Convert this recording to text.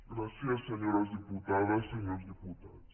gràcies senyores diputades senyors diputats